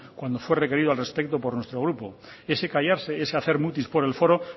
cuando fue requerido al respecto por nuestro grupo ese callarse ese hacer mutis por el foro